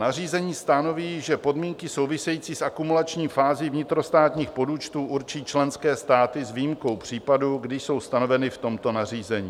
Nařízení stanoví, že "podmínky související s akumulační fází vnitrostátních podúčtů určí členské státy s výjimkou případů, kdy jsou stanoveny v tomto nařízení.